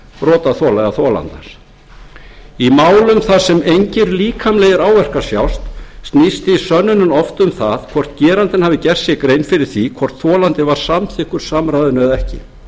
brotaþola eða þolandans í málum þar sem engir líkamlegir áverkar sjást snýst því sönnunin oft um það hvort gerandinn hafi gert sér grein fyrir því hvort þolandi var samþykkur samræðinu eða ekki